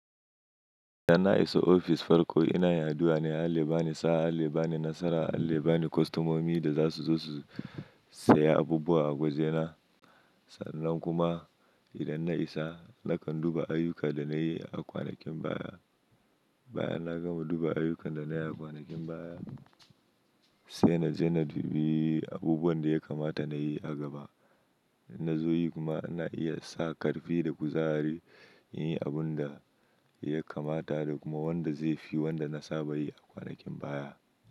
Idan na isa ofis farko ina yin addu'a ne Allah ya bani sa'a, Allah ya bani nasara, Allah ya bani kostomomi da za su zo su saya abubuwa a gwajena. Sannan kuma idan na isa nakan duba ayyukan da na yi a kwanakin baya. Baya na gama duba ayyukan da na yi a kwanakin baya sai na je na dubi abubuwan da ya kamata na yi a gaba. Na zo yi kuma ana iya sa ƙarfi da kuzari in yi abun da ya kamata da kuma wanda zai fi wanda na saba yi a kwanakin baya.